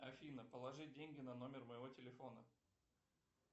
афина положи деньги на номер моего телефона